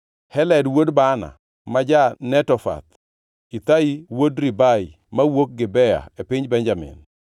Heled wuod Baana ma ja-Netofath, Ithai wuod Ribai mawuok Gibea e piny Benjamin,